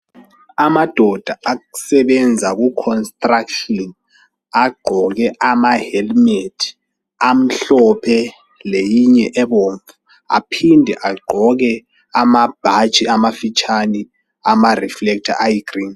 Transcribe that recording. Amadoda asebenza ku construction agqoke ama helmet amhlophe leyinye ebomvu .Aphinde agqoke amabhatshi amafitshane ama reflector ayi green.